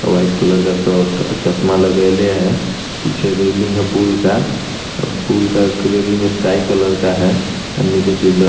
white colour का suit और चश्मा लगा ली है पीछे रेलिंग का पुल का पुल का रेलिंग स्काई कलर का है और नीचे पीलर --